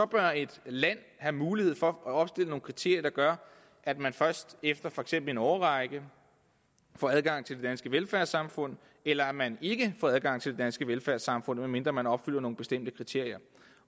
bør et land have mulighed for at opstille nogle kriterier der gør at man først efter for eksempel en årrække får adgang til det danske velfærdssamfund eller at man ikke får adgang til det danske velfærdssamfund medmindre man opfylder nogle bestemte kriterier